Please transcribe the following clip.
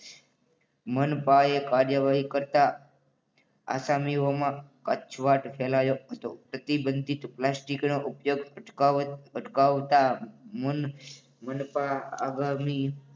મનપા યે કાર્યવાહી કરતા આસામીઓમાં કચવાટ ફેલાયો હતો. પ્રતિબંધિત પ્લાસ્ટિકના ઉપયોગ અટકાવ અટકાવતા મનપા આગામી